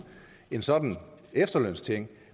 en sådan efterlønsting